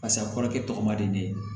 Pasi a kɔrɔkɛ tɔgɔ man di ne ye